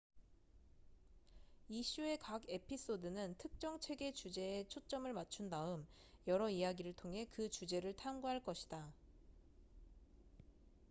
이 쇼의 각 에피소드는 특정 책의 주제에 초점을 맞춘 다음 여러 이야기를 통해 그 주제를 탐구할 것이다